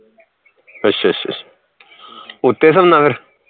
ਅੱਛਾ ਅੱਛਾ ਅੱਛਾ ਉੱਤੇ ਸੌਣਾ ਫਿਰ